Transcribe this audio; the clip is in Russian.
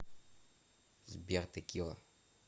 сбер текила